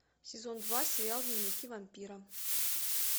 сезон два сериал дневники вампира